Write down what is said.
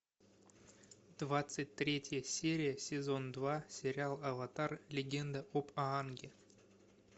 двадцать третья серия сезон два сериал аватар легенда об аанге